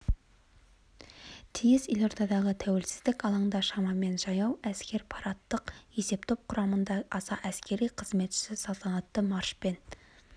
тиіс елордадағы тәуелсіздік алаңында шамамен жаяу әскер парадтық есептоп құрамында аса әскери қызметші салтанатты маршпен